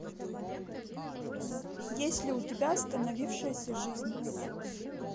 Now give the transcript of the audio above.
есть ли у тебя остановившаяся жизнь